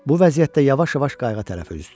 Bu vəziyyətdə yavaş-yavaş qayığa tərəf üzüdü.